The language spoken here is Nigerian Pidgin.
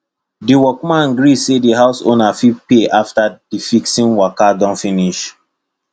the workman gree say the house owner fit pay after the fixing waka don finish